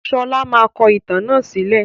Sọlá máa kọ ìtàn náà sílẹ̀